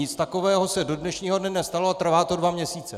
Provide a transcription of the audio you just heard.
Nic takového se do dnešního dne nestalo a trvá to dva měsíce!